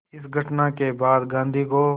इस घटना के बाद गांधी को